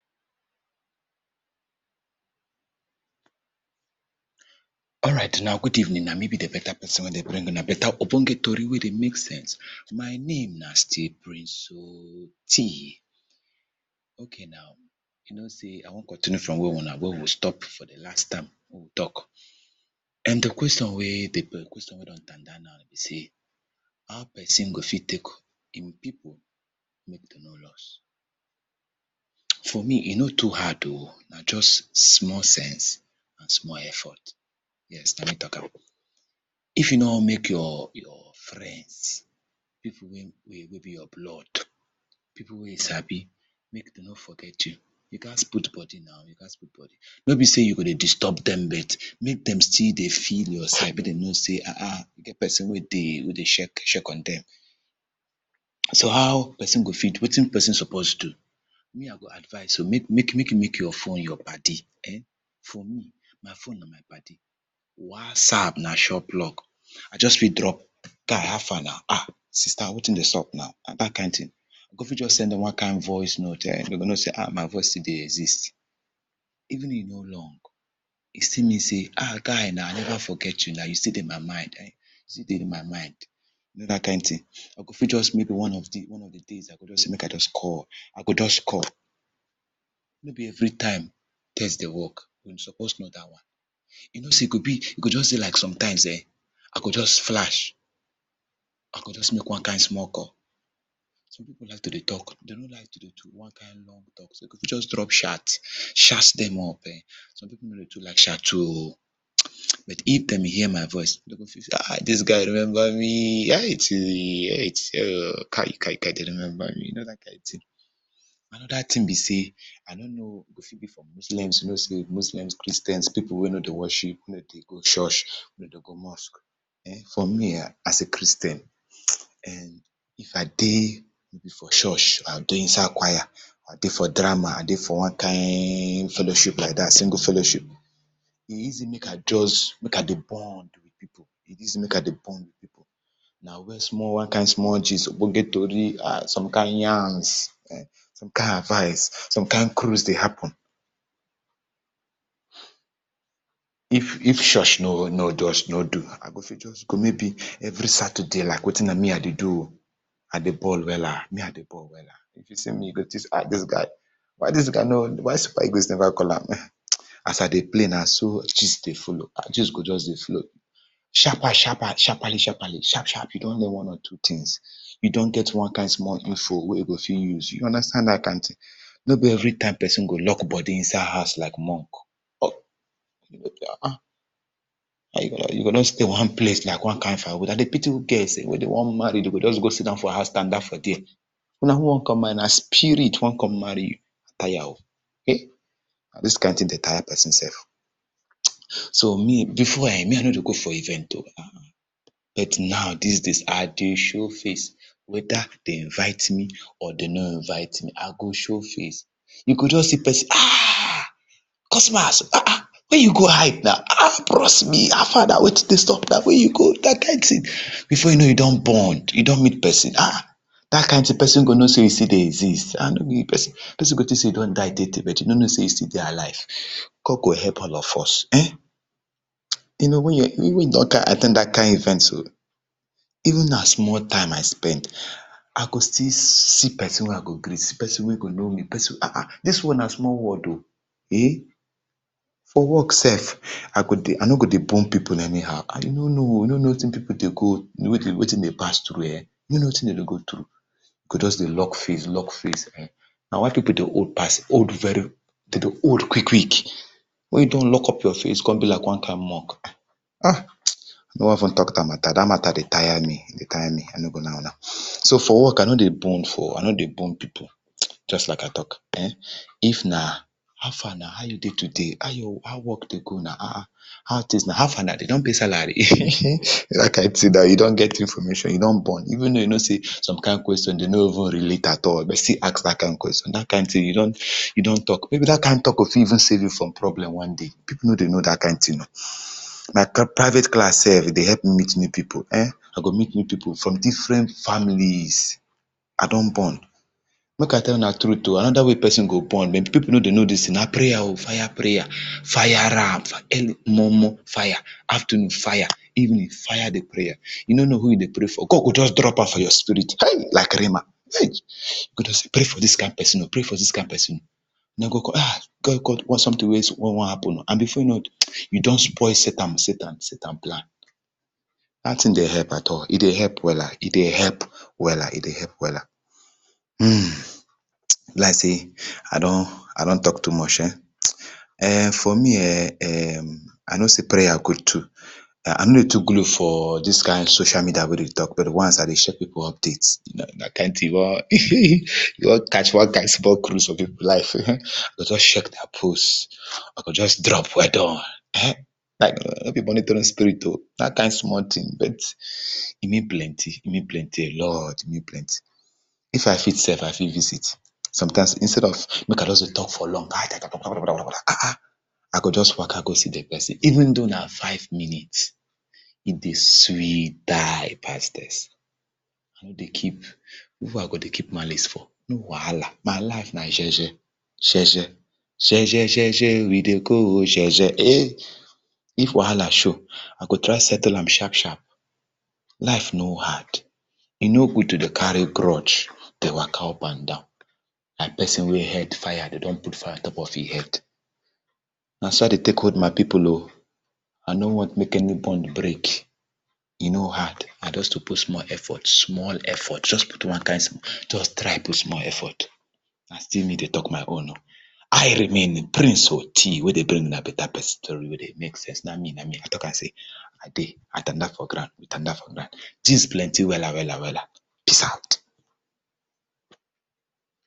Alright una good evening, na me be di better person wey dey bring una di better ogbonge tory wey dey make sense. My name na still prince Oti okay nau, you know sey I wan continue from where una where we stop for di last time, wey we talk, and di question wey dey di question wey dey on tanda now be say, hoe person go fit take [2] people make dem no lost, for me e no too hard oh, na just small sense and small effort, yes na me talk am, if you no want make you’re your friends, people wey wey be your blood, people wey you sabi make dem no forget you, you gats put body na, you gats put body, nor be sey you go dey disturb dem, but make dem still dey feel your side make dem know sey ahn ahn e get person wey dey, wey dey check on dem, so how person go fit do, wetin person suppose do? Me I go advice oh, make make you make your phone your paddy [urn] for me my phone na my paddy, whatsapp na sure plug. I just fit drop guy afar na, sister wetin dey xup na, dat kind thing, I go fit just send one kind voice note, dem go know sey ah, my voice still dey exist, even e no long e still mean sey, ah, guy na I never forget you, you stll dey my mind, you still dey my mind, you know dat kind thing, I go fit just maybe one of di days I go fit just sey make I just call, I go just call, no ne every time text dey work, we supposed know dat one, you know sey e go just be like sometimes[um], I go just flash, I go just make one kind small call, some people like to dey talk, dem no like to do one long talk, so you go just drop chat, chat dem up[um], some people no dey too like chat to oh, but if dem hear my voice, dem go feel sey ah, dis guy remember me, ah, ah, kai kai, dem remember me you know dat kind thing. Another thing be sey, I no know whether e go fit be for Muslims, Muslims Christians people wey no dey worship, nor dey go church, no dey go mosque[um], for me[um], as a Christian [urn] if I dey maybe for church, I go dey inside choir, I dey for drama, I dey for one kind fellowship like dat, go fellowship, e easy make I just, make I dey bond with people, e easy make I dey bond with people, na where one kind small gist, ogbonge tory, ah, some kind yarns,[um], some kind advice, some kind cruise dey happen, if if church no just no do, I go fit just go maybe every Saturday na wetin me I dey do oh, I dey ball wella, me I dey ball wella, if you see me you go think sey, ah dis guy, wy dis guy, why eagles never call am, as I dey play na so gist dey follow, gist go just dey flow, sharper sharper, sharperly sharperly, sharp sharp you don know one or two things, you don get one kind small info wen you fit use, you understand dat kind thing. Nor be every time person go lock body inside house like monk, ahn ahn, you go stay inside one pace, like one fire wood, I dey pity girls wey dem one marry dem go just go sit down for house, tanda for there, na who wan come marry you, na spirit wan come marry you? I tire oh, hey, na doz kind thing dey tire person sef, so me, before[um], me I nor dey go for event oh, ah but now, dis days, I dey show face, whether dem invite me or dem no invite me, I go show face, you go just see person, ah, come see my house ahn ahn,, where you go hide na, bros me afar na wetin dey xup, where you go dat kind thing, before you know you don bond, you don meet person, ahn, dat kind thing person go know sey you still dey exist. Person go think sey you don die tey tey, e nor go know sey you still dey alive, God go help all of us[um], you know wen you don at ten d dat kind event so, even though na small time I spend, I go still see person wey I go greet, see person wey go know me, person wey I go ahn ahn. Dis world na small world oh, eh, for work sef, I go dey I no go dey bond people anyhow, I know no oh, I no know wetin people dey go, wetin dey pass through dem, you nor know wetin dem dey go through, you go just dey lock face, lock face, na why people dey old pass, old very well dem dey old quick quick, wen you don lock up your face come be like one kind monk, ah I no wan talk dat matter, dat matter dey tire me, e dey tire me, I no go lie una, so for work I nor dey bone for, I nor dey bone people, just like I talk, if na how far na, how you dey today, how your how work dey go today na, how things na, how far na dem don pay salary, dat kind thing na, you don get information, you don bond, even if you know sey, some kind question dem no even relate at all, you go still ask dat question, dat kind thing you don, you don talk, may be dat kind tal k go fit even sav e you from problem one day, people no dey know dat kind thing oh, na private class sef dey help meet new people, I go meet new people from different families, I don bond, make I tell una truth oh, another way person dey bond, people nor dey know dis thing oh, na prayer oh, fire prayer, fire am, early momo fire, afternoon fire, evening fire di prayer, you nor know who you dey pray for, God go just drop am for your spirit hey, like rhema e go just sey pray for dis kind person oh, pray for dis kind person oh, una go just one kind thing wey wan happen, before you know you don spoil satan, satan, satan plan. Dat thing dey help at all, e dey help wella e dey help, e dey help wella, e dey help wella, e be like sey I don I don talk too much[um], [urn] for me I know sey prayer good too I nor dey talk for all dis kind social media dey go tell people, once I dey share update, dat kind thing wen, go just catch small cruise for people life[um], just check their post, I go just drop weldone, no be monitoring spirit oh, dat kind small thing, I mean plenty e mean plenty a lot, I mean plenty if I fit sef I fit visit, sometimes instead of make I just dey talk for long, ahn ahn, I go just waka go see di person, even though na five minutes, e dey sweet die pass vex, I nor dey keep, who I go dey keep malice for, no wahala, my life na jeje, jeje, jeje, jeje je we dey go oh, jeje eh, if wahala show, I go try settle am sharp sharp, life no hard, e no good to dey carry grudge dey waka, u and down like person wey head fire, dem don put fire on top of him head. Na so I dey take hold my people oh, I no want make any bond break, e no hard na just to put small effort, small effort, put one kind small effort, just try put small effort. Na still me dey talk my own oh, I remain di prince Oti wey dey bring una better best tory wey dey make sense, na me na ma, I talk am sey I dey I tanda for ground, I tanda for ground gist plenty wella wella wella, peace out.